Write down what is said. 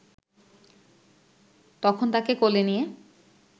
তখন তাকে কোলে নিয়ে